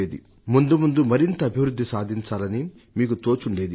ముందుముందు మరింత అభివృద్ధి సాధించాలని మీకు తోచుండేది